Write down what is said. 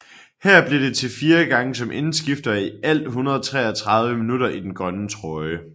Her blev det til 4 gange som indskifter og i alt 133 minutter i den grønne trøje